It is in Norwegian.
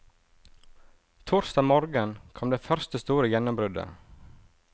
Torsdag morgen kom det første store gjennombruddet.